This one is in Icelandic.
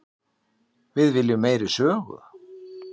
Við viljum meiri sögu.